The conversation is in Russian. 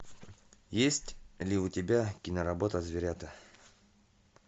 есть ли у тебя киноработа зверята